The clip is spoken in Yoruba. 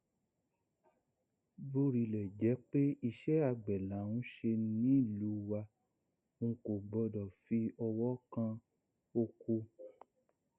bórílẹ jẹ pé iṣẹ àgbẹ là ń ṣe nílùú wa ńkọ gbọdọ fi ọwọ kan ọkọ